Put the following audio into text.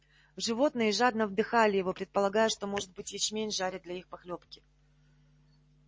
животные жадно вдыхали его предполагая что может быть ячмень жарят для их похлёбки